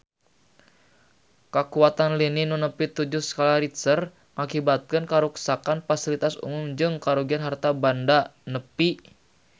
Kakuatan lini nu nepi tujuh skala Richter ngakibatkeun karuksakan pasilitas umum jeung karugian harta banda nepi ka 5 juta rupiah